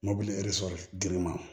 Mobili eseyɛrɛ girin ma